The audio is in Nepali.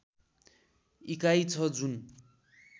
इकाई छ जुन